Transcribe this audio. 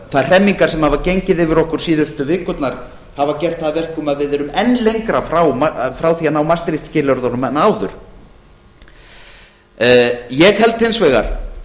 þær hremmingar sem hafa gengið yfir okkur síðustu vikurnar hafa gert það að verkum að við erum enn lengra frá því að ná maastricht skilyrðunum en áður ég held hins vegar